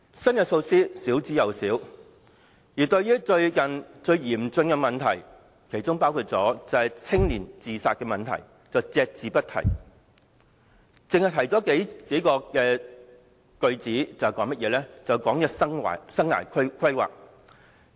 新措施十分少，而對於最近教育界面對最嚴峻的問題，包括青年自殺問題，則隻字不提，只以數句提到生涯規劃。